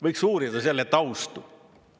Võiks uurida selle taustu.